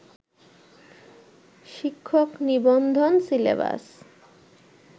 শিক্ষক নিবন্ধন সিলেবাস